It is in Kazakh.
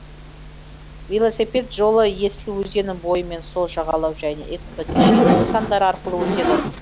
велосипед жолы есіл өзенінің бойы мен сол жағалау және экспо кешенінің нысандары арқылы өтеді